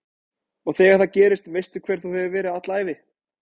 Og þegar það gerist veistu hver þú hefur verið alla ævi